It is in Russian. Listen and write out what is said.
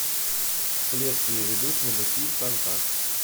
следствие ведут знатоки шантаж